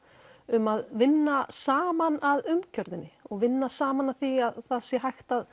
um að vinna saman að umgjörðinni og vinna saman að því að það sé hægt